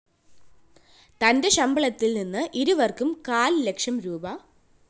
തന്റെ ശമ്പളത്തില്‍ നിന്ന് ഇരുവര്‍ക്കും കാല്‍ലക്ഷം രൂപീ